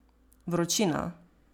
Vročina.